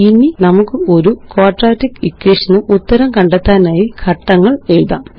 ഇനി നമുക്ക് ഒരു ക്വാഡ്രാറ്റിക് ഇക്വേഷൻ ന് ഉത്തരം കണ്ടെത്താനായി ഘട്ടങ്ങളെഴുതാം